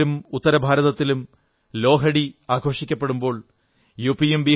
പഞ്ചാബിലും ഉത്തരഭാരതത്തിലും ലോഹഡി ആഘോഷിക്കപ്പെടുമ്പോൾ യു